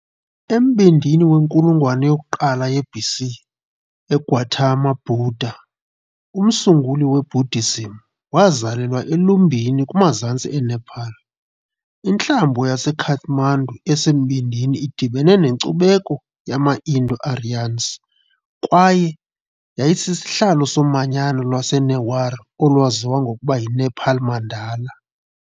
Embindini wenkulungwane yokuqala ye-BC, uGautama Buddha, umsunguli weBuddhism, wazalelwa eLumbini kumazantsi eNepal. Intlambo yaseKathmandu esembindini idibene nenkcubeko yama-Indo-Aryans, kwaye yayisisihlalo somanyano lwaseNewar olwaziwa ngokuba yiNepal Mandala .